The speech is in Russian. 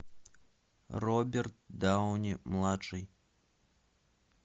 роберт дауни младший